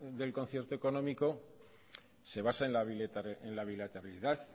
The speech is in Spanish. del concierto económico se basa en la bilaterabilidad